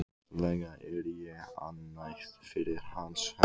Gasalega er ég ánægð fyrir hans hönd.